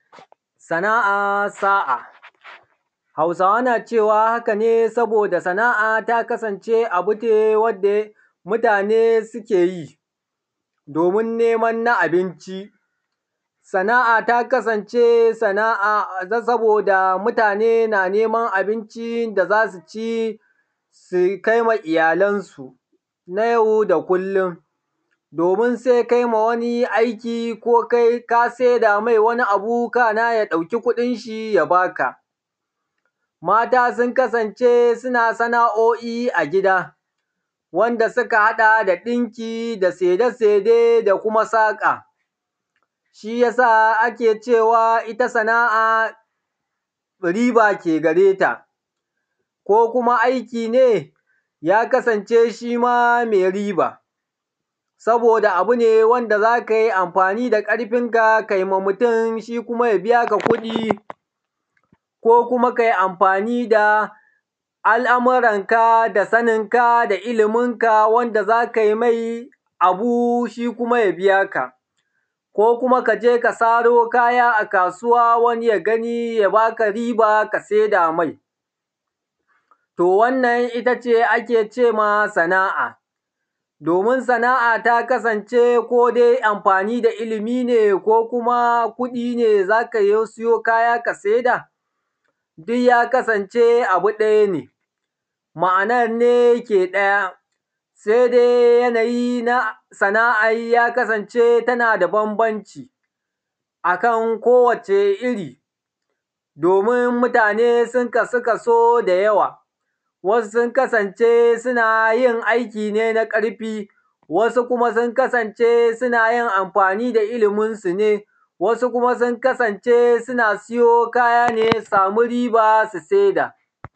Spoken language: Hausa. Sana’a sa’a hausawa nacewa hakane, saboda sana’a ta kasance abune wanda yake mutane keyi domin neman na abinci. Sana’a ta kasance sana’a saboda mutane na neman abincin da za suci su kaima iyyalan sun a yau da kullum, domin sai kaima wani aiki ko ka saida mai wani abu sannan zai ɗauki kuɗinshi ya baka. Mata sun kasance su na sana’oi a gida wanda suka haɗa da ɗinki da saide saide da saƙa, shiyasa ake cewa itta sana’a riba ke gareta ko kuma aiki ne ya kasance shima mai riba. Saboda abu wanda kai amfani da ƙarfinka kaima mutun shi, kuma ya biyaka kuɗi, ko kuma kai amfani da al’muran ka da saninaka da ilimin ka wanda za kai mai abu shikuma ya biyaka ko kuma kaje ka saro kaya a kasuwa wani ya yabaka riba kai kuma ka saida mai, to wannan ittace ake cema sana’a. Domin sana’a ta kasance amfani da ilimi ne ko kuma kuɗi ne za ka sayo kaya ka saida duyya kasance abu ɗaya ne. Ma’anan ne ke ɗaya sai dai yanayi na sana’an ya kasance tanada banbanci akan kowacce irri domin mutane sun kasu kaso da yawa, wasu sun kasance sunayin aiki na ƙarfi wasu kuma sun kasance sunayin amfani da ilimin su ne, wasu kuma sun kasance suna siyo kayane suci riba su saida.